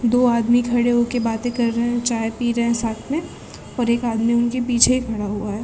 दो आदमी खड़े होके बाते कर रहे है चाय पी रहे है साथ में और एक आदमी उनके पीछे ही खड़ा हुआ है।